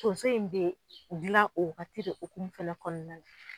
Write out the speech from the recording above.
Donso in bɛ dilan o waagati de hokumu fɛnɛ kɔnɔna la.